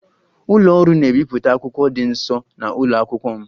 Ụlọ ọrụ na-ebipụta akwụkwọ dị nso na ụlọ akwụkwọ m